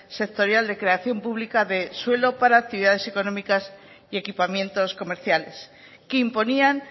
sectorial de creación pública de suelo para actividades económicas y equipamientos comerciales que imponían